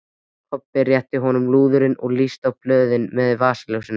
Kobbi rétti honum lúðurinn og lýsti á blöðin með vasaljósinu.